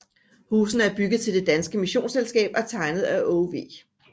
Husene er bygget til Det Danske Missionsselskab og tegnet af Aage V